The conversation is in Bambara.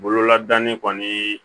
Bololadani kɔni